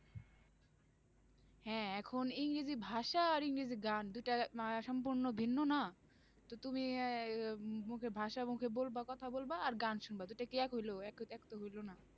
হ্যাঁ এখন ইংরেজি ভাষা আর ইংরেজি গান দুইটা সম্পূর্ণ ভিন্য না, তো তুমি এই আহ মু~ মুখে ভাষা মুখে বলবা কথা বলবা আর গান শুনবা দুটো কি হইল? এক~ এক তো হইল না,